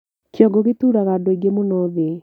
Kĩongo gĩtuuraga andũ aingĩ mũno thĩ